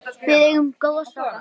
Við eigum góða stráka.